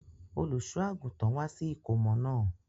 Olùṣọ àgùntàn wá sí ìkómọ náà.